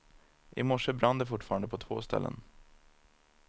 I morse brann det fortfarande på två ställen.